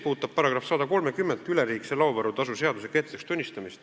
Paragrahv 130 ehk üleliigse laovaru tasu seaduse kehtetuks tunnistamine.